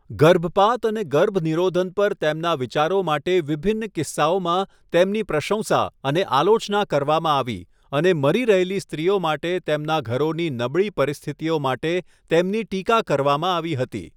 ગર્ભપાત અને ગર્ભનિરોધન પર તેમના વિચારો માટે વિભિન્ન કિસ્સાઓમાં તેમની પ્રસંશા અને આલોચના કરવામાં આવી, અને મરી રહેલી સ્ત્રીઓ માટે તેમના ઘરોની નબળી પરિસ્થિતિઓ માટે તેમની ટીકા કરવામાં આવી હતી.